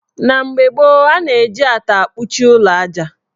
Na mgbe gboo, ana-eji ata akpuchi ụlọ aja.